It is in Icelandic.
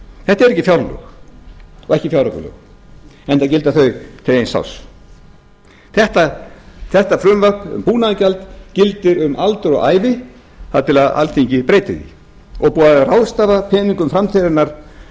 þetta eru ekki fjárlög og ekki fjáraukalög enda gilda þau til eins árs þetta frumvarp um búnaðargjald gildir um aldur og ævi þar til alþingi breytir því og er búið að ráðstafa peningum framtíðarinnar